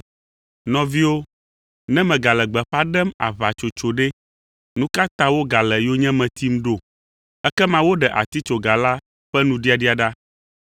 Nɔviwo, ne megale gbeƒã ɖem aʋatsotso ɖe, nu ka ta wogale yonyeme tim ɖo? Ekema woɖe atitsoga la ƒe nuɖiaɖia ɖa.